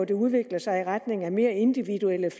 dér udvikler sig i retning er mere individuelle